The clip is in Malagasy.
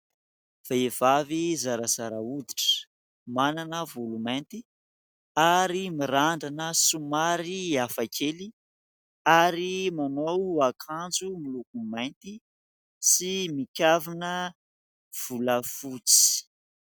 Vehivavy zarazara hoditra, manana volo mainty ary mirandrana somary hafa kely ary manao akanjo miloko mainty sy mikavina volafotsy.